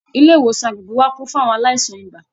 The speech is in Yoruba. Ilé ìwòsàn agbègbè wa kún fún àwọn aláìsàn ibà